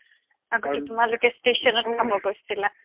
আগতে তোমালোকে ষ্টেচনত খাব গৈছিলা